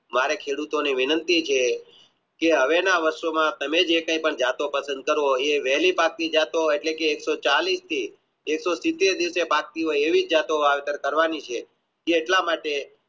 મારે ખેડૂતોની વિનંતી છે કે હવે ના વર્ષોમાં તમે જે કાય પણ જતો પસંદ કરો એટલે કે એકસો ચાલીશથી એક સો સીતેર થી એવી જાતોની વાવેતર કરવાની છે કે એટલા માટે